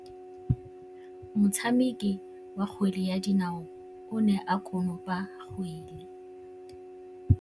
Motshameki wa kgwele ya dinaô o ne a konopa kgwele.